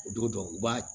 O don u b'a